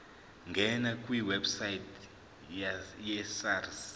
ngena kwiwebsite yesars